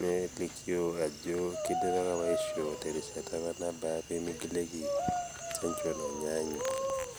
nelikoo ajo keidipaki opa aishoo terishata opa nabaa pee meigilieki chanjo nainyaanyuk.